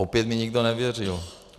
Opět mi nikdo nevěřil.